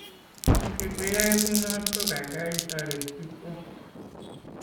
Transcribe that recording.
ne keteyae kunot ko kaikai itaret piik kwaok